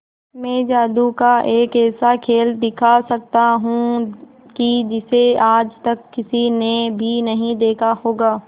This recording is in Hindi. मैं जादू का एक ऐसा खेल दिखा सकता हूं कि जिसे आज तक किसी ने भी नहीं देखा होगा